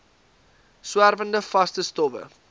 swerwende vaste stowwe